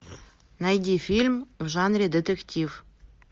найди фильм в жанре детектив